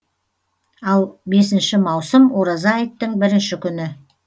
ал бесінші маусым ораза айттың бірінші күні